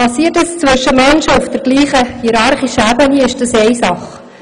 Geschieht solches zwischen Menschen auf der gleichen hierarchischen Stufe ist das eine Sache.